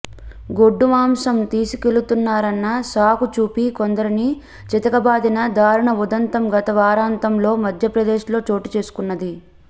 గొడ్డు మాంసం తీసుకెళుతున్నారన్న సాకు చూపి కొందరిని చితకబాదిన దారుణ ఉదంతం గత వారాంతంలో మధ్యప్రదేశ్లో చోటు చేసుకున్నది